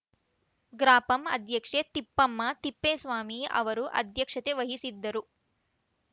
ಗ್ರಾಪಂ ಅಧ್ಯಕ್ಷೆ ತಿಪ್ಪಮ್ಮ ತಿಪ್ಪೇಸ್ವಾಮಿ ಅವರು ಅಧ್ಯಕ್ಷತೆ ವಹಿಸಿದ್ದರು